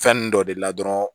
Fɛn ninnu dɔ de la dɔrɔn